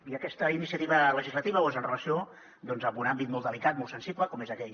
i aquesta iniciativa legislativa ho és amb relació doncs a un àmbit molt delicat molt sensible com és aquell